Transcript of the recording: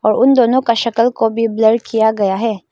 उन दोनों का शक्ल को भी ब्लर किया गया है।